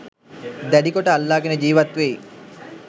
දැඩිකොට අල්ලාගෙන ජීවත්වෙයි.